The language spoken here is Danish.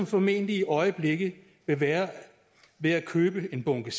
formentlig i øjeblikket være ved at købe en bunke